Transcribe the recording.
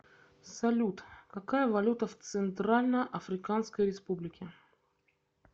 салют какая валюта в центральноафриканской республике